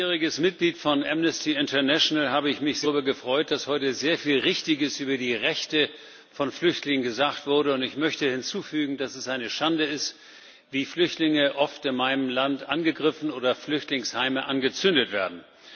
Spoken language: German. Herr Präsident! Als langjähriges Mitglied von Amnesty International habe ich mich sehr darüber gefreut, dass heute sehr viel Richtiges über die Rechte von Flüchtlingen gesagt wurde, und ich möchte hinzufügen, dass es eine Schande ist, wie Flüchtlinge oft in meinem Land angegriffen oder Flüchtlingsheime angezündet werden.